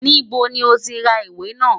Níbo ni ó ti ra ìwé náà?